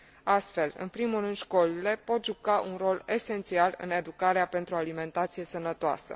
Astfel, în primul rând școlile pot juca un rol esențial în educarea pentru o alimentație sănătoasă.